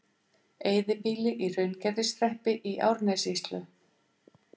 Eyðibýli í Hraungerðishreppi í Árnessýslu.